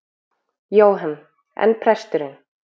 Jóhann: En presturinn?